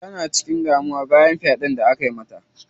Tana cikin damuwa bayan faɗen da akayi mata.